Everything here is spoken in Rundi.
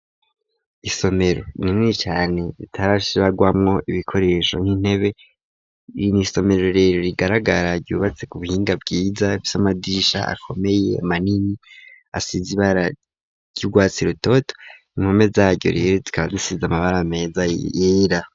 isomero rinini cane ritarashirwamwo ibikoresho nk'intebe . N'isomero rero rigaragara ryubatse ku buhinga bwiza rifise vy'amadisha akomeye manini asize ibara ry'urwatsi rutoto inpome zaryo rero rikaba risize amabara meza yera.